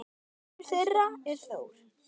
Sonur þeirra er Þór.